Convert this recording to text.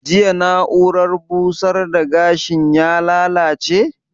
Jiya na'urar busar da gashin ya lallace?